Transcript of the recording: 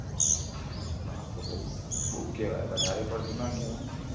આતો બઉ બઉ કેવાય વધારે પડતું ના કેવાય.